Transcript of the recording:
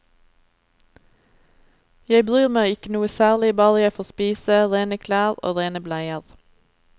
Jeg bryr meg ikke noe særlig, bare jeg får spise, rene klær og rene bleier.